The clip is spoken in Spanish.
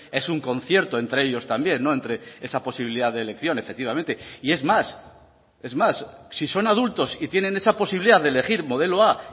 es un concierto entre ellos también entre esa posibilidad de elección efectivamente y es más es más si son adultos y tienen esa posibilidad de elegir modelo a